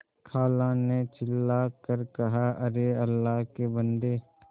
खाला ने चिल्ला कर कहाअरे अल्लाह के बन्दे